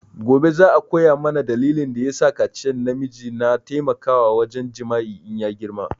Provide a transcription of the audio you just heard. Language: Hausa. Gobe za a koya mana dalilin da ya sakaciyan na miji na taimakawa wurin jima'i in ya girma